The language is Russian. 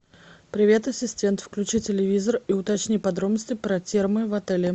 привет ассистент включи телевизор и уточни подробности про термы в отеле